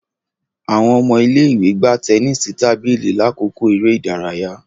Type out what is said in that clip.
Awọn ọmọ ile-iwe gbà tẹnisi tábìlì lakoko eré ìdárayá